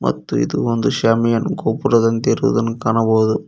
ಮತ್ತು ಇದು ಒಂದು ಶಾಮಿಯಾನ ಗೋಪುರದಂತೆ ಇರುವುದನ್ನು ಕಾಣಬಹುದು.